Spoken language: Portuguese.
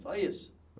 Só isso.